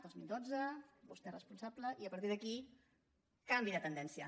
dos mil dotze vostè és responsable i a partir d’aquí canvi de tendència